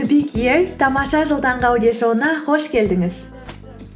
тамаша жыл таңғы аудиошоуына қош келдіңіз